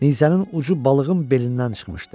Nizənin ucu balığın belindən çıxmışdı.